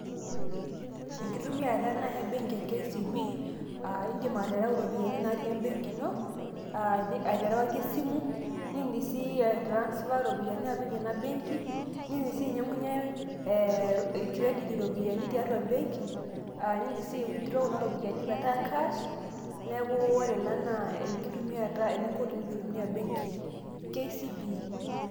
enkitumiata ena e benki e kcb. idim atereu iropiyiani natii ebenki ino. aterewaki esimu, nidim sii ae transfer iropiyiani apik ena benki. nidim sii ainyiang'unye cedit iropiyiani tiatua e benki. nidim sii ai withdraw[cs kuna ropiyiani metaa cash. neku ore ena naa enkitumiata e.eninko tenintumia ebenki e kcb.